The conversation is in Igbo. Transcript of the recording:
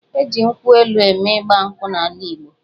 E ji nkwụ elu mee Ịgba nkwụ n'ala Igbo.